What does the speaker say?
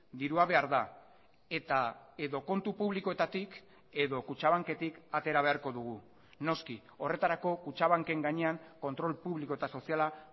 dirua behar da eta edo kontu publikoetatik edo kutxabanketik atera beharko dugu noski horretarako kutxabanken gainean kontrol publiko eta soziala